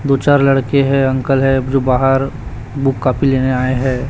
दो चार लड़के हैं अंकल है जो बाहर बुक कॉपी लेने आए हैं।